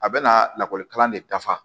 A bɛna lakɔlikalan de dafa